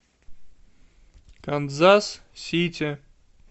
канзас сити